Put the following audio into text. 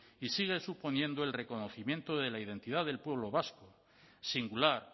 y sigue suponiendo el reconocimiento de la identidad del pueblo vasco singular